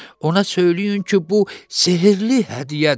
Ona söyləyin ki, bu sehirli hədiyyədir.